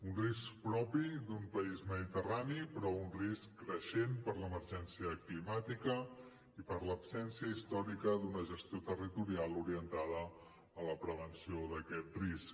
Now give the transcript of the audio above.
un risc propi d’un país mediterrani però un risc creixent per l’emergència climàtica i per l’absència històrica d’una gestió territorial orientada a la prevenció d’aquest risc